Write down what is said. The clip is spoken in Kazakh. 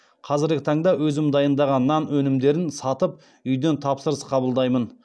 қазіргі таңда өзім дайындаған нан өнімдерін сатып үйден тапсырыс қабылдаймын